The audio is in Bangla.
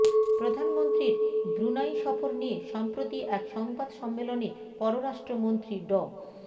প্রধানমন্ত্রীর ব্রুনাই সফর নিয়ে সম্প্রতি এক সংবাদ সম্মেলনে পররাষ্ট্রমন্ত্রী ড